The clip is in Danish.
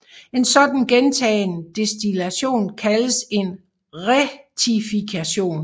En sådan gentagen destillation kaldes en rektifikation